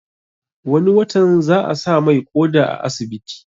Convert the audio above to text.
Wani watan za a sa mai ƙoda a asibiti